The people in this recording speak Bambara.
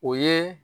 O ye